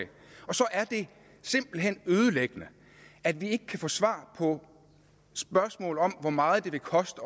og så er det simpelt hen ødelæggende at vi ikke kan få svar på spørgsmål om hvor meget det vil koste